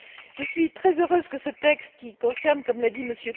Je suis très heureuse que ce texte, qui concerne comme l'a dit M.